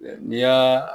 N'i y'a